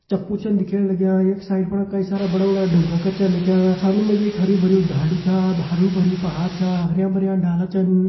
चप्पू छन दिखेण लग्यां यख साइड फड़ कई सारा बड़ा बड़ा ढुंगा करचें लक्यां सामने म जी एक हर्युं-भर्युं धांडू चा हारु-भारु पहाड़ चा हर्या-भर्या डाला छन।